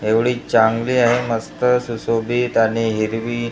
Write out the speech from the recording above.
एवढी चांगली आहे मस्त सुशोभित आणि हिरवी--